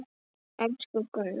Elsku Gunnar.